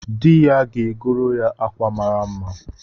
Di ya ga-agoro ya akwa mara mma